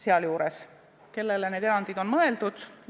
Sealjuures, kellele need erandid on mõeldud?